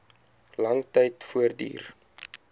lang tyd voortduur